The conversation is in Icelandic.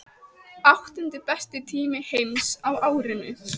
Áttundi besti tími heims á árinu